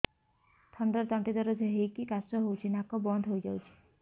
ଥଣ୍ଡାରେ ତଣ୍ଟି ଦରଜ ହେଇକି କାଶ ହଉଚି ନାକ ବନ୍ଦ ହୋଇଯାଉଛି